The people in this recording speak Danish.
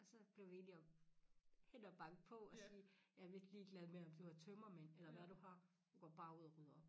Og så blev vi enige om hen og banke på og sige jeg lidt ligeglad med om du har tømmermænd eller hvad du har du går bare ud og rydder op